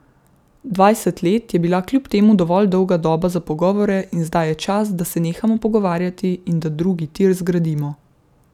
Dvajset let je bila kljub temu dovolj dolga doba za pogovore in zdaj je čas, da se nehamo pogovarjati in da drugi tir zgradimo.